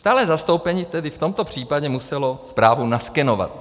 Stálé zastoupení tedy v tomto případě muselo zprávu naskenovat.